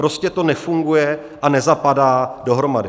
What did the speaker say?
Prostě to nefunguje a nezapadá dohromady.